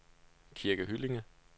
Kirke Hyllinge